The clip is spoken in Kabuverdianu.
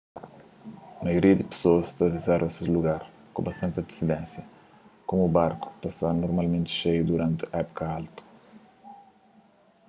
maioria di pesoas ta rizerva ses lugar ku bastanti antisidénsia komu barku ta sta normalmenti xeiu duranti épuka altu